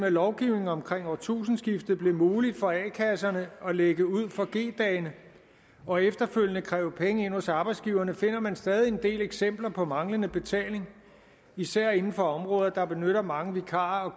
med lovgivning omkring årtusindskiftet blev muligt for a kasserne at lægge ud for g dagene og efterfølgende kræve penge ind hos arbejdsgiverne finder man stadig en del eksempler på manglende betaling især inden for områder der benytter mange vikarer og